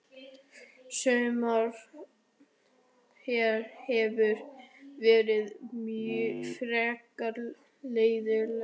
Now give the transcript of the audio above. Sumarið hér hefur verið frekar leiðinlegt.